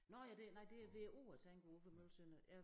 Nåh ja det nej det er ved æ å jeg tænker udenfor Møgeltønder ja